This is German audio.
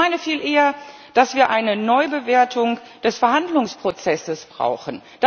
Ich meine viel eher, dass wir eine Neubewertung des Verhandlungsprozesses brauchen.